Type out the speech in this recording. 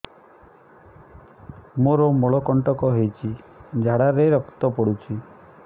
ମୋରୋ ମଳକଣ୍ଟକ ହେଇଚି ଝାଡ଼ାରେ ରକ୍ତ ପଡୁଛି